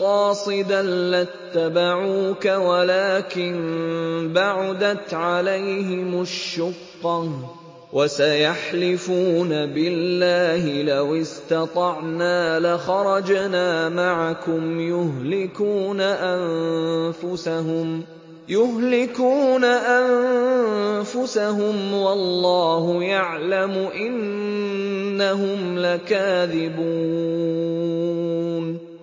قَاصِدًا لَّاتَّبَعُوكَ وَلَٰكِن بَعُدَتْ عَلَيْهِمُ الشُّقَّةُ ۚ وَسَيَحْلِفُونَ بِاللَّهِ لَوِ اسْتَطَعْنَا لَخَرَجْنَا مَعَكُمْ يُهْلِكُونَ أَنفُسَهُمْ وَاللَّهُ يَعْلَمُ إِنَّهُمْ لَكَاذِبُونَ